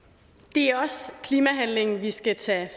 det er også klimahandling vi skal tage